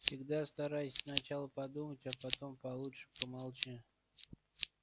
всегда старайся сначала подумать а получше промолчи